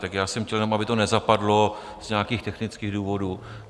Tak já jsem chtěl jenom, aby to nezapadlo z nějakých technických důvodů.